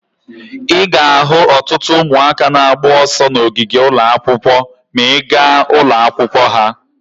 Ị ga-ahụ ọtụtụ ụmụaka na-agba ọsọ n'ogige ụlọ akwụkwọ ma ị gaa ụlọ akwụkwọ ha.